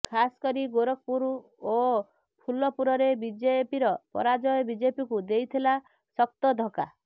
ଖାସକରି ଗୋରଖପୁର ଓ ଫୁଲପୁରରେ ବିଜେପିର ପରାଜୟ ବିଜେପିକୁ ଦେଇଥିଲା ଶକ୍ତ ଧକ୍କା